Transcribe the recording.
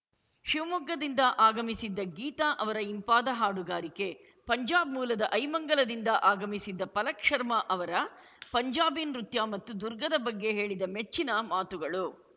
ಶಿವಮೊಗ್ಗದಿಂದ ಆಗಮಿಸಿದ್ದ ಗೀತಾ ಅವರ ಇಂಪಾದ ಹಾಡುಗಾರಿಕೆ ಪಂಜಾಬ್‌ ಮೂಲದ ಐಮಂಗಲದಿಂದ ಆಗಮಿಸಿದ್ದ ಪಲಕ್‌ ಶರ್ಮ ಅವರ ಪಂಜಾಬಿ ನೃತ್ಯ ಮತ್ತು ದುರ್ಗದ ಬಗ್ಗೆ ಹೇಳಿದ ಮೆಚ್ಚಿನ ಮಾತುಗಳು